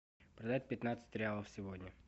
продать пятнадцать реалов сегодня